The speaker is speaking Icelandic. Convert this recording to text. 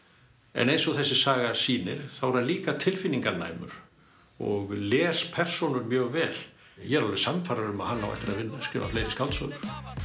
en eins og þessi saga sýnir þá er hann líka tilfinninganæmur og les persónur mjög vel ég er alveg sannfærður um að hann á eftir að skrifa fleiri skáldsögur